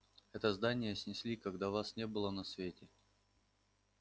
это здание снесли когда вас не было на свете